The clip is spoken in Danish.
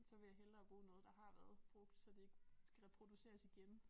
Så vil jeg hellere bruge noget der har været brugt så det ikke skal reproduceres igen